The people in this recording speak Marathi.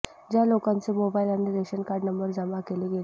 ज्या लोकांचे मोबाईल आणि रेशन कार्ड नंबर जमा केले गेले